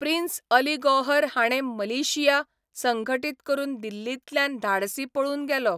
Prince Ali Gauhar हाणें militia संघटीत करून दिल्लींतल्यान धाडसी पळून गेलो.